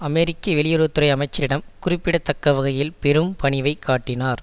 அமெரிக்க வெளியுறவு துறை அமைச்சரிடம் குறிப்பிட தக்கவகையில் பெரும் பணிவை காட்டினார்